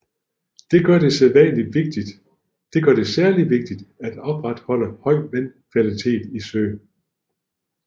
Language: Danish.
Det gør det særlig vigtigt at opretholde høj vandkvalitet i søen